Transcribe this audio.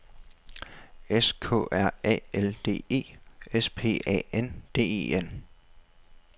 S K R A L D E S P A N D E N